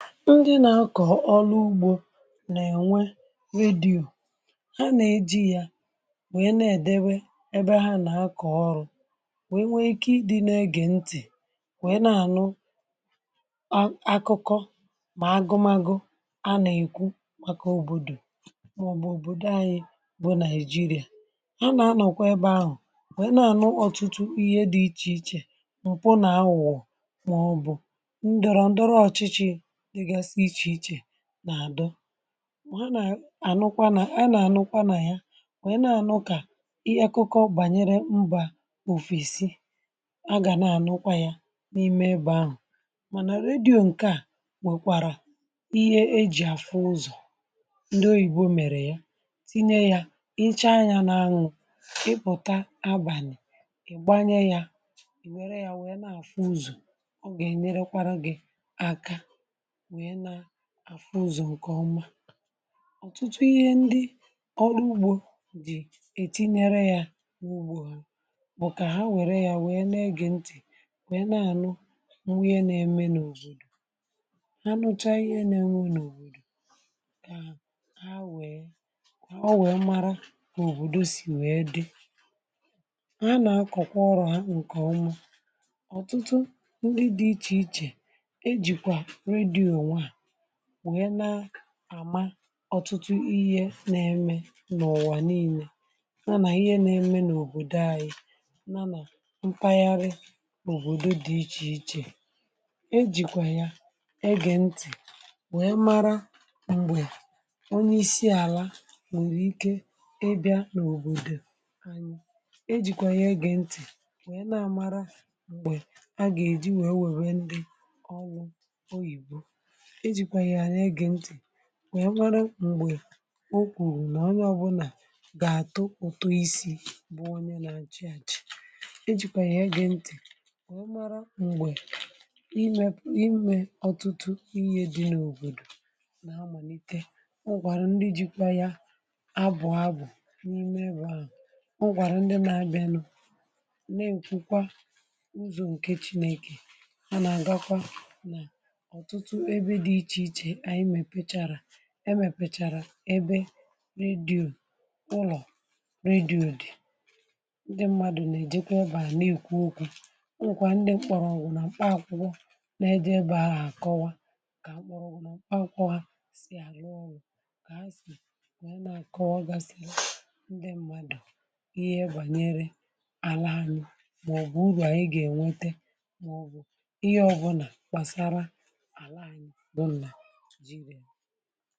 ndị na akọ̀ ọrụ ugbȯ nà ènwe redio, ha nà eji̇ ya nwèe na-ède wee ebe ha nà akọ̀ ọrụ, wèe nwee ike ịdị nà egè ntị̀, nwèe na-ànụ ah akụkọ mà agụmagu anà ekwu màkà òbòdò màọbụ̀ òbòdò anyị bụ naị̀jịrịà. Ha nà anọ̀kwa ebe ahụ̀ nwèe na-ànụ ọtụtụ ihe dị ichè ichè m̀pụ nà aghugho màọbụ̀ ndoro ndoro ochichi dika siri iche-iche na-adọ. a nà-ànụkwa nà a na ànụkwa nà ya kà wee na-ànụ kà ihe akụkọ̇ bànyere mbȧ òfesì a gà na-ànụkwa ya n’ime ebe ahụ̇. mànà redio ǹkè a nwèkwàrà ihe ejì afu ụzọ̀ ndị oyìbo mèrè ya tinye yȧ ,icha yȧ n’anwụ̇ ịpụ̀ta abàlị̀ ị̀gbanyẹ yȧ ị̀ wère yȧ wèe na-àfu ụzọ̀, ọ gà-ènyere kwa gị̇ aka wee na àfụ ụzọ̀ ǹkè ọma. ọ̀tụtụ ihe ndị ọrụ ugbȯ dì ètinyere ya n’ugbȯ bụ̀ kà ha wère ya wèe na-egè ntì wèe na-anụ iheẹ na-eme n’òbòdò ha nụcha ihe na-eme n’òbòdò ha wèe ọ wẹ̀ẹ mara kà òbòdò sì wẹ̀ẹ dị. ha na akọ̀kwa ọrụ ha ǹkè oma. ọ̀tụtụ ndị dị̇ ichè ichè eji kwa redio a wèe na-àma ọtụtụ ihe na-eme n’ụ̀wà niilė ha nà ihe na-eme n’òbòdò anyi̇, ya nà mpaghara n’òbòdo dị ichè ichè .e jìkwà ya e gè ntị̀ wee mara m̀gbè onye isi àla nwèrè ike ịbịȧ n’òbòdò anyi̇, e jìkwà ya e gè ntị̀ wèe na-àmara m̀gbè a gà-èji nwèe wèrè ndị ọ wụ ,ọrụ oyìbo. Eji kwa ya ege nti wèe nwere mgbe okwùrù nà onye ọbụlà gà-àtụ ụtụ isi̇ bụ onye na achì àchị. ejìkwà yà ege ntì wèe mara m̀gbè ime ime ọ̀tụtụ ihe dị n’òbòdò nà amàlite .onwe kwara ndi ji̇ kwa ya abụ̀ abụ̀ n’ime ebe ahụ̀, onwe kwara ndị m na-abịanụ̇ nà-èkwukwa ụzọ̀ ǹke chinėkè. Ma na aga kwa otutu ebe di iche iche anyi mèpechara emèpechara ebe redio, ụlọ̀ redio dị̀. ndị mmadụ̀ na-eji kwa ebe à na-èkwu okwu. Enwe kwere ndị nkpọrọ ọgwụ̀ na mkpa akwụkwọ na-eje ebe à hu akọwà ka mkpọrọ ọgwụ̀ na mkpa akwụkwọ ha si aru oru.ka ha si, wee na akọwà ga si ndị mmadụ̀ ihe ebanyere ala anụ̀ maọ̀bụ̀ ụlọ̀ anyị ga-enwete maọ̀bụ̀ ihe ọbụnà gbasara anyi bu naijiri à.